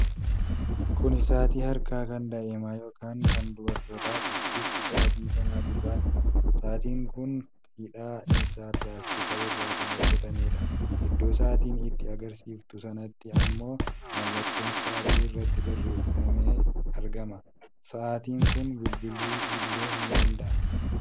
Kuni sa'aatii harkaa kan daa'imaa yookiin kan durbootaati. Bifti sa'aatii kanaa gurraacha . Sa'aatiin kun hidhaan isaa pilaastika irraa kan hojjatameedha. Iddoo sa'aatii itti agarsiiftu sanatti ammoo mallatoon sa'aatii irratti barraa'ee argama. Sa'aatiin kun bilbiluu illee ni danada'a.